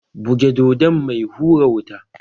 Buge Dodon mai hura wuta!